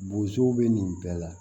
Bozow be nin bɛɛ la